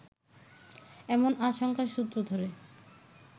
এমন আশঙ্কার সূত্র ধরে